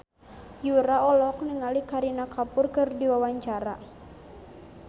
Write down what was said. Yura olohok ningali Kareena Kapoor keur diwawancara